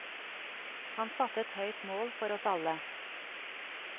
Han satte et høyt mål for oss alle.